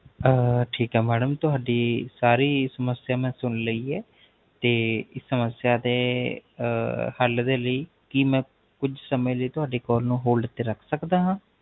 ਆਹ ਠੀਕ ਹੈ Madam ਤੁਹਾਡੀ ਸਾਰੀ ਸਮਸਿਆ ਮੈਂ ਸੁਨ ਲਈ ਹੈ ਤੇ ਇਸ ਸਮਸਿਆ ਦੇ ਹਲ ਦੇ ਲਈ ਕੀ ਮੈ ਕੁਛ ਸਮੇ ਦੇ ਲਈ ਤੁਹਾਡੇ Call ਨੂ Hold ਤੇ ਰਖ ਸਕਦਾ ਹਾਂ